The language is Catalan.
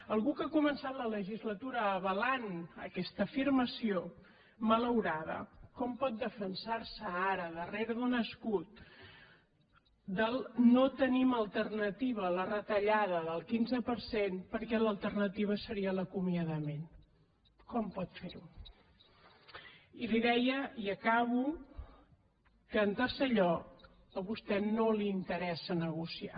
algú que ha començat la legislatura avalant aquesta afirmació malaurada com pot defensar se ara darrere d’un escut del no tenim alternativa a la retallada del quinze per cent perquè l’alternativa seria l’acomiadament com pot fer ho i li deia i acabo que en tercer lloc a vostè no li interessa negociar